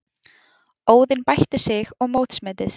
Óðinn bætti sig og mótsmetið